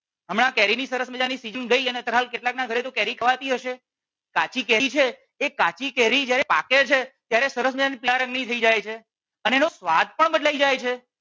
હમણાં કેરી ની સરસ મજાની સીઝન ગઈ અને અત્યારે હાલ કેટલાક ના ઘરે કેરી ખવાતી હશે કાચી કેરી છે એ કાચી કેરી જ્યારે પાકે છે ત્યારે સરસ મજાની પીળા રંગ ની થઈ જાય છે અને એનો સ્વાદ પણ બદલાઈ જાય છે